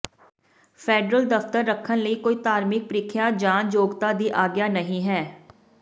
federal ਦਫਤਰ ਰੱਖਣ ਲਈ ਕੋਈ ਧਾਰਮਿਕ ਪ੍ਰੀਖਿਆ ਜਾਂ ਯੋਗਤਾ ਦੀ ਆਗਿਆ ਨਹੀਂ ਹੈ